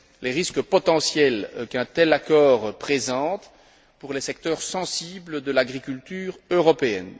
risques potentiels qu'un tel accord présente pour les secteurs sensibles de l'agriculture européenne.